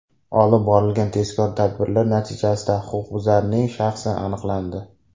Olib borilgan tezkor tadbirlar natijasida huquqbuzarning shaxsi aniqlandi.